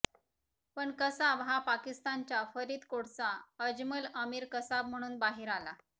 पण कसाब हा पाकिस्तानच्या फरीदकोटचा अजमल अमीर कसाब म्हणून बाहेर आला